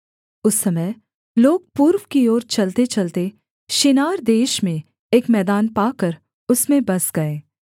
उस समय लोग पूर्व की ओर चलतेचलते शिनार देश में एक मैदान पाकर उसमें बस गए